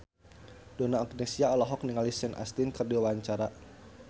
Donna Agnesia olohok ningali Sean Astin keur diwawancara